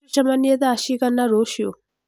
Tũcemanie thaa cigana rũciũ?